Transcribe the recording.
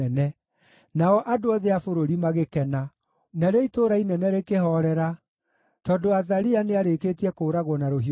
nao andũ othe a bũrũri magĩkena. Narĩo itũũra inene rĩkĩhoorera, tondũ Athalia nĩarĩkĩtie kũũragwo na rũhiũ rwa njora.